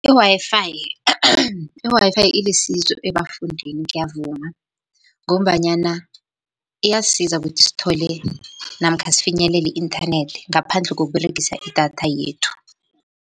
I-Wi-Fi , i-Wi-Fi ilisizo ebafundini ngiyavuma, ngombanyana iyasisiza ukuthi sithole namkha sifinyelele i-inthanethi ngaphandle kokUberegisa idatha yethu.